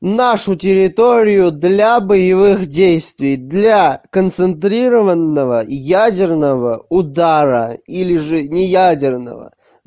нашу территорию для боевых действий для концентрированного ядерного удара или же не ядерного